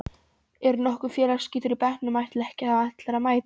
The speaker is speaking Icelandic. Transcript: Er nokkur félagsskítur í bekknum ætla ekki allir að mæta?